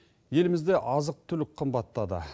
елімізде азық түлік қымбаттады